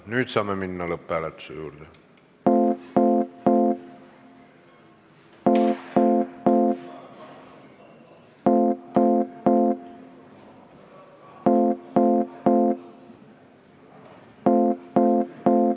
Nüüd saame minna lõpphääletuse juurde.